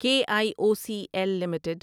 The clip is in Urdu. کے I O C L limited